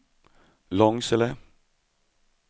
Långsele